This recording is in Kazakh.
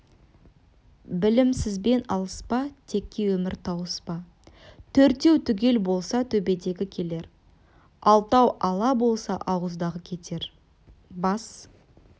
білімсізбен алыспа текке өмір тауыспа төртеу түгел болса төбедегі келер алтау ала болса ауыздағы кетер бас